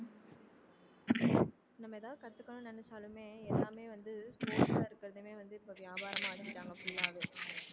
நம்ம ஏதாவது கத்துக்கணும்ன்னு நினைச்சாலுமே எல்லாமே வந்து sport ஆ இருக்கிறதுமே வந்து இப்ப வியாபாரமா ஆக்கிட்டாங்க full ஆவே